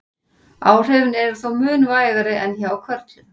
Áhrifin eru þó mun vægari en hjá körlum.